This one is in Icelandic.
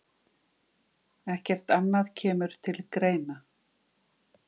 Ekkert annað kemur til greina.